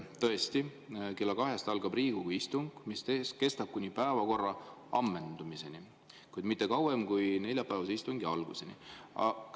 Tõesti, kell kaks algab Riigikogu istung, mis kestab kuni päevakorra ammendumiseni, kuid mitte kauem kui neljapäevase istungi alguseni.